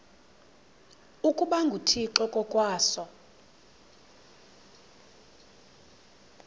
ukuba nguthixo ngokwaso